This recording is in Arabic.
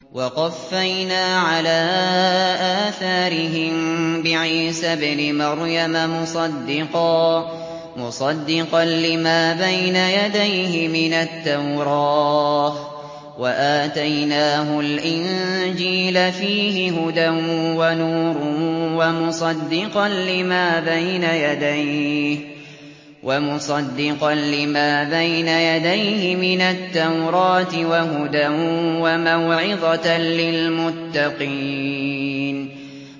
وَقَفَّيْنَا عَلَىٰ آثَارِهِم بِعِيسَى ابْنِ مَرْيَمَ مُصَدِّقًا لِّمَا بَيْنَ يَدَيْهِ مِنَ التَّوْرَاةِ ۖ وَآتَيْنَاهُ الْإِنجِيلَ فِيهِ هُدًى وَنُورٌ وَمُصَدِّقًا لِّمَا بَيْنَ يَدَيْهِ مِنَ التَّوْرَاةِ وَهُدًى وَمَوْعِظَةً لِّلْمُتَّقِينَ